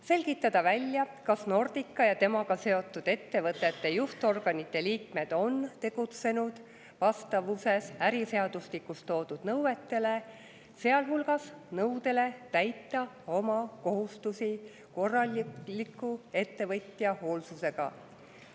Selgitada välja, kas Nordica ja temaga seotud ettevõtete juhtorganite liikmed on tegutsenud vastavuses äriseadustikus toodud nõuetega, sealhulgas nõudega täita oma kohustusi korraliku ettevõtja hoolsusega.